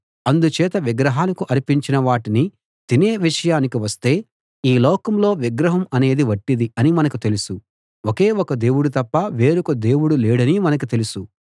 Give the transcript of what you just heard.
అందుచేత విగ్రహాలకు అర్పించిన వాటిని తినే విషయానికి వస్తే ఈ లోకంలో విగ్రహం అనేది వట్టిది అని మనకు తెలుసు ఒకే ఒక దేవుడు తప్ప వేరొక దేవుడు లేడని మనకు తెలుసు